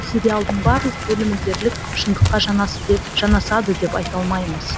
сериалдың барлық бөлімі дерлік шындыққа жанасады деп айта алмаймыз